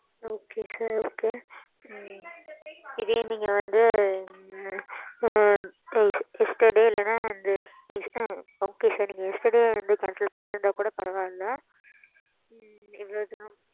ok mam